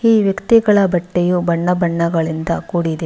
ಈ ವ್ಯಕ್ತಿಗಳ ಬಟ್ಟೆಯು ಬಣ್ಣ ಬಣ್ಣದಿಂದ ಕೂಡಿದೆ.